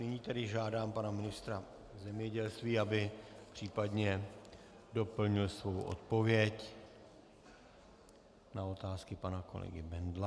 Nyní tedy žádám pana ministra zemědělství, aby případně doplnil svou odpověď na otázky pana kolegy Bendla.